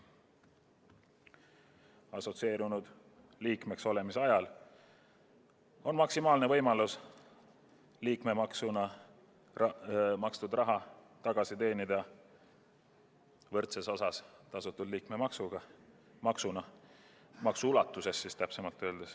Assotsieerunud liikmeks olemise ajal on võimalik liikmemaksuna makstud raha tagasi teenida tasutud liikmemaksuga võrdses ulatuses.